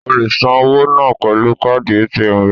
O le san owó náà pẹ̀lú káàdì ATM rẹ.